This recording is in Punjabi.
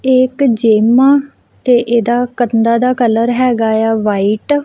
ਇਹ ਇੱਕ ਜਿਮ ਆ ਤੇ ਇਹਦੇ ਕੰਧਾਂ ਦਾ ਕਲਰ ਹੈਗਾ ਆ ਵਾਈਟ ।